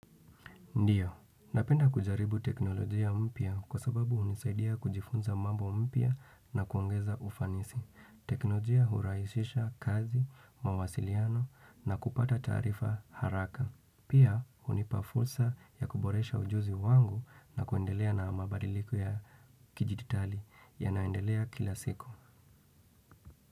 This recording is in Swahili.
Ndiyo, napenda kujaribu teknolojia mpya kwa sababu hunisaidia kujifunza mambo mpya na kuongeza ufanisi. Teknolojia hurahisisha kazi, mawasiliano na kupata taarifa haraka. Pia hunipa fursa ya kuboresha ujuzi wangu na kuendelea na mabadiliko ya kidijitali yanayoendelea kila siku.